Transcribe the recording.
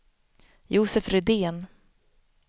Josef Rydén